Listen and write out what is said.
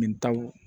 Min taw